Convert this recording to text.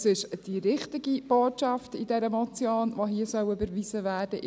Es ist die richtige Botschaft in dieser Motion, die hier überwiesen werden soll.